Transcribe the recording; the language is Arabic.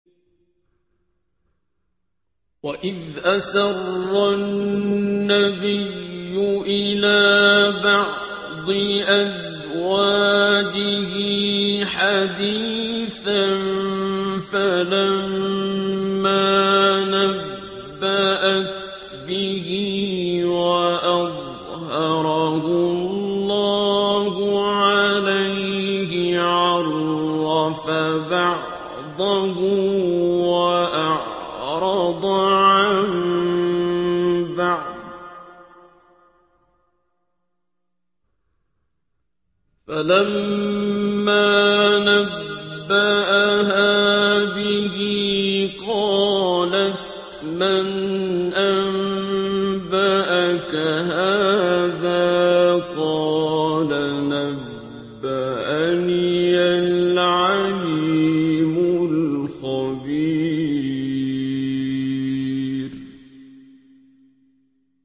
وَإِذْ أَسَرَّ النَّبِيُّ إِلَىٰ بَعْضِ أَزْوَاجِهِ حَدِيثًا فَلَمَّا نَبَّأَتْ بِهِ وَأَظْهَرَهُ اللَّهُ عَلَيْهِ عَرَّفَ بَعْضَهُ وَأَعْرَضَ عَن بَعْضٍ ۖ فَلَمَّا نَبَّأَهَا بِهِ قَالَتْ مَنْ أَنبَأَكَ هَٰذَا ۖ قَالَ نَبَّأَنِيَ الْعَلِيمُ الْخَبِيرُ